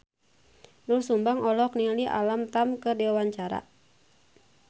Doel Sumbang olohok ningali Alam Tam keur diwawancara